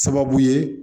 Sababu ye